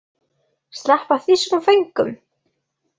Sleppa þýskum föngum?